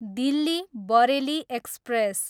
Delhi, Bareilly express